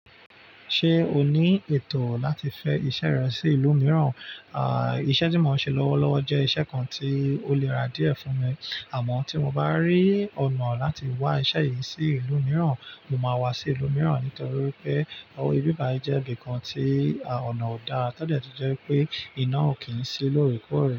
Ṣé o ní ètò láti fẹ iṣẹ́ rẹ sí ìlú mìíràn? Iṣẹ́ tí mo ń ṣe lọ́wọ́lọ́wọ́ jẹ́ iṣẹ́ kan tí ó le ra díẹ̀ fún mi. Àmọ́ tí mo bá rí ọ̀nà láti wá iṣẹ́ yìí sí ìlú mìíràn, mo máa wá sí ìlú mìíràn nítorí pé ọ, ibi báyìí jẹ́ ibi kan tí ọ̀nà ọ̀dà todẹ̀ tún jẹ́ pé iná ò kí ń ṣí lórekòrẹ.